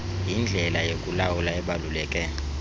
yindlela yokulawula ebaluleke